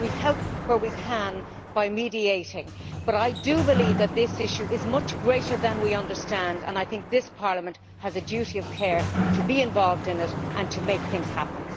We help where we can by mediating, but I believe that this issue is much greater than we understand, and I think that this Parliament has a duty of care to be involved in it and to make things happen.